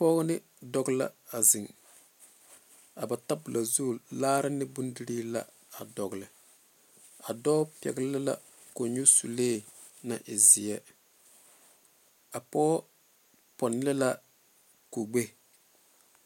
Pɔge ne dɔɔ la a zeŋe tabole zu laare ne bondirii la a yɛ doldole a dɔɔ pɛle la kõnyusulee zeɛ a pɔge pone la kugbɛ.